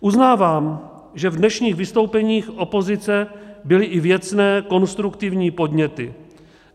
Uznávám, že v dnešních vystoupeních opozice byly i věcné, konstruktivní, podněty.